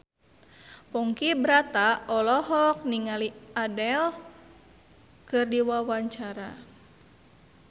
Ponky Brata olohok ningali Adele keur diwawancara